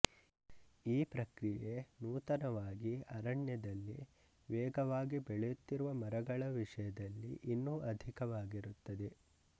ಈ ಪ್ರಕ್ರಿಯೆ ನೂತನವಾಗಿ ಅರಣ್ಯದಲ್ಲಿ ವೇಗವಾಗಿ ಬೆಳೆಯುತ್ತಿರುವ ಮರಗಳ ವಿಷಯದಲ್ಲಿ ಇನ್ನೂ ಅಧಿಕವಾಗಿರುತ್ತದೆ